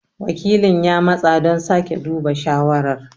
Wakilin ya matsa don sake duba shawarar.